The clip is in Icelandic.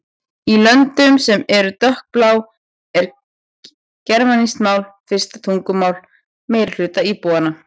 Í löndum sem eru dökkblá er germanskt mál fyrsta tungumál meirihluta íbúanna.